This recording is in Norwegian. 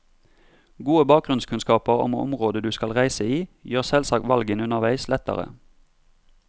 Gode bakgrunnskunnskaper om området du skal reise i gjør selvsagt valgene underveis lettere.